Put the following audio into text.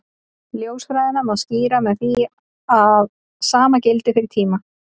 Ljósfræðina má skýra með því að sama gildi fyrir tíma.